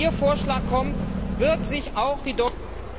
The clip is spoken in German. Wenn Ihr Vorschlag kommt, wird sich auch die deutsche